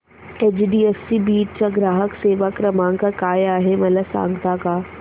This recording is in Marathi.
एचडीएफसी बीड चा ग्राहक सेवा क्रमांक काय आहे मला सांगता का